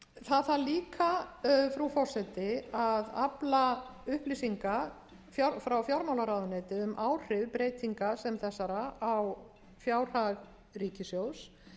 málaflokks það þarf líka frú forseti að afla upplýsinga frá fjármálaráðuneyti um áhrif breytinga sem þessara á fjárhag ríkissjóðs